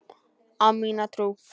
Á mína trú.